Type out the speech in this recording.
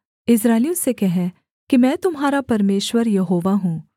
इस्राएलियों से कह कि मैं तुम्हारा परमेश्वर यहोवा हूँ